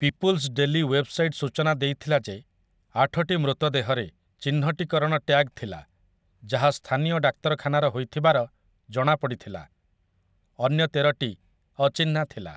People's daily' website ସୂଚନା ଦେଇଥିଲା ଯେ ଆଠଟି ମୃତଦେହରେ ଚିହ୍ନଟୀକରଣ ଟ୍ୟାଗ୍ ଥିଲା, ଯାହା ସ୍ଥାନୀୟ ଡାକ୍ତରଖାନାର ହୋଇଥିବାର ଜଣାପଡ଼ିଥିଲା, ଅନ୍ୟ ତେରଟି ଅଚିହ୍ନା ଥିଲା ।